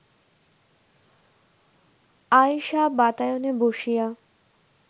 আয়েষা বাতায়নে বসিয়া